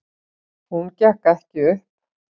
Hún gekk ekki upp.